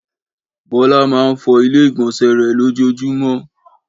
Bọ́lá máa ń fọ ilé-ìgbọnsẹ̀ rẹ̀ lójoojúmọ́.